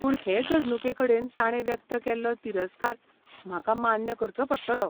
पूण, हे घडणुके कडेन ताणे व्यक्त केल्लो तिरस्कार म्हाका मान्य करचो पडटलो.